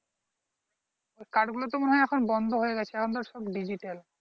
card গুলো তো মনে হয় এখন বন্ধ হয়ে গেছে এখন তো সব digital